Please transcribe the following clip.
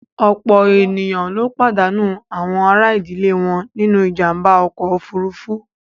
Ọ̀pọ̀ èèyàn ló pàdánù àwọn àrà ìdílé wọn nínú ìjàǹbá ọkọ̀ òfuurufú